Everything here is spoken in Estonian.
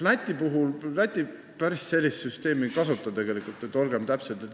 Olgem täpsed, Läti päris sellist süsteemi tegelikult ei kasuta.